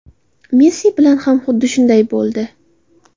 Messi bilan ham xuddi shunday bo‘ldi.